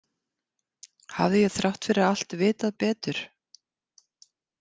Hafði ég þrátt fyrir allt vitað betur?